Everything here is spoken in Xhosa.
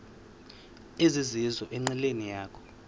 ezizizo enqileni yakho